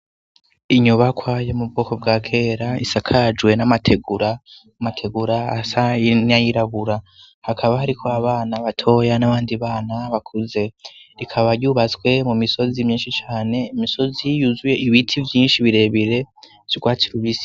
Inyubakwa yo mu bwoko bwa kera isakajwe n'amategura, amategura asa n'ayirabura, hakaba hariko abana batoya n'abandi bana bakuze, rikaba ryubatswe mu misozi myinshi cane, imisozi yuzuye ibiti vyinshi birebire vy'urwatsi rubisi.